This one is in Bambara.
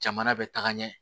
Jamana bɛ taga ɲɛ